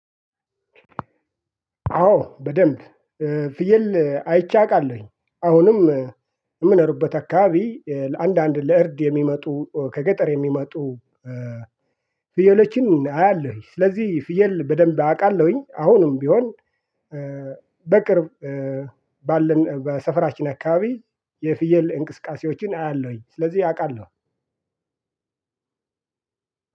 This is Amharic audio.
አዎ በደንብ ፍየል አይቼ አውቃለሁኝ አሁንም የምኖርበት አካባቢ ለአንዳንድ ለእርድ የሚመጡ ከገጠር የሚመጡ። ፍየሎችን አያለሁኝ ስለዚህ ፍየል በደንብ አቃለሁኝ አሁንም ቢሆን። በቅርብ ባለን በሰፈራችን አካባቢ የፍየል እንቅስቃሴዎችን አያለሁኝ። ስለዚህ አውቃለሁ።